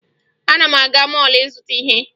Ana m aga mọọlụ ịzụta ihe